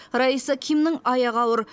раиса кимнің аяғы ауыр